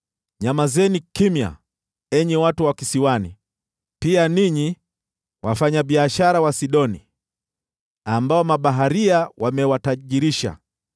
Nyamazeni kimya, enyi watu wa kisiwani, pia ninyi wafanyabiashara wa Sidoni, ambao mabaharia wamewatajirisha.